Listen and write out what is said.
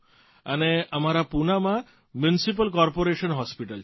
અને અમારા પૂનામાં મ્યુનિસિપલ કોર્પોરેશન હોસ્પીટલ છે